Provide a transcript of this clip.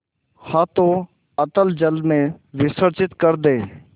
हाथों अतल जल में विसर्जन कर दे